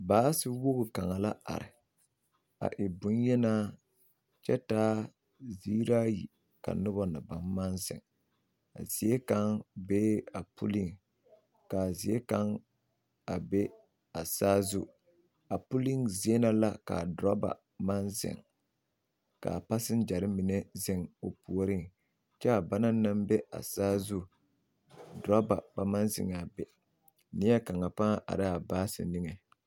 Baasiwogi kaŋa la are a e boŋyenaa kyɛ taa ziiri ayi ka noba naŋ maŋ zeŋ a zie kaŋ bee a pulliŋ ka a zie kaŋ a be a saazu a pulliŋ zie na la ka a doraba maŋ zeŋ ka a paseŋgyare puoriŋ kyɛ a bana naŋ be a saazu doraba ba maŋ zeŋ a be neɛkaŋa pãã are la a baasi niŋe.